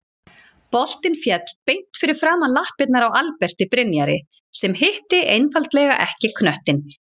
Boltinn féll beint fyrir framan lappirnar á Alberti Brynjari sem hitti einfaldlega ekki knöttinn.